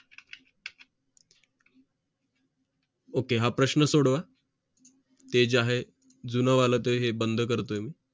ok हा प्रश्न सोडवा ते जे आहे जून वाल ते बंद करतोय मी